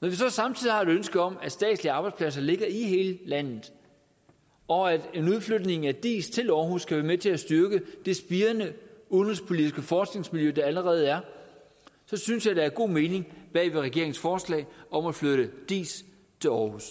når vi så samtidig har et ønske om at statslige arbejdspladser skal ligge i hele landet og at en udflytning af diis til aarhus kan være med til at styrke det spirende udenrigspolitiske forskningsmiljø der allerede er så synes jeg der er god mening med regeringens forslag om at flytte diis til aarhus